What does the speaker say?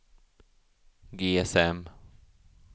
GSM